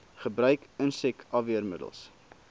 gebruik insek afweermiddels